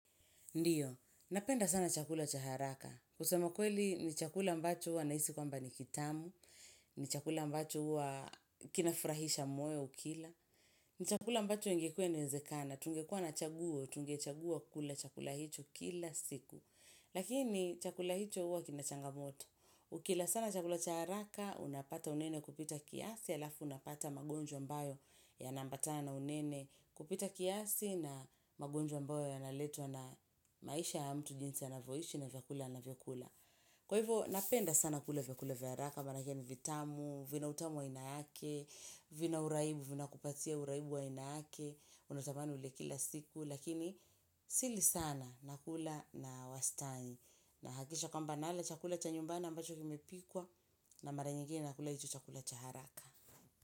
Ndiyo, napenda sana chakula cha haraka. Kusema kweli ni chakula ambacho huwa nahisi kwamba ni kitamu. Ni chakula ambacho huwa kinafurahisha moyo ukila ni chakula ambacho ingekuwa inawezekana, tungekuwa na chaguo, tungechagua kula chakula hicho kila siku. Lakini, chakula hicho huwa kina changamoto. Ukila sana chakula cha haraka, unapata unene kupita kiasi alafu unapata magonjwa ambayo yanaambatana na unene kupita kiasi na magonjwa ambayo yanaletwa na maisha ya mtu jinsi anavyoishi na vyakula anavyokula. Kwa hivyo napenda sana kula vyakula vya haraka maanake ni vitamu, vina utamu wa ainake, vina uraibu, vinakupatia uraibu wa aina yake unatamani ule kila siku lakini sili sana. Nakula na wastani. Nahakisha kwamba nala chakula cha nyumbani ambacho kimepikwa na mara nyingine nakula hicho chakula cha haraka.